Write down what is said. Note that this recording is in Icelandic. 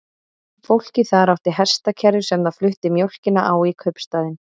Fólkið þar átti hestakerru sem það flutti mjólkina á í kaupstaðinn.